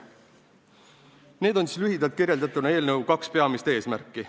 Need on lühidalt kirjeldatuna eelnõu kaks peamist eesmärki.